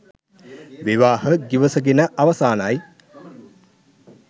විවාහ ගිවිසගෙන අවසානයි